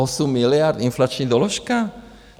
Osm miliard inflační doložka?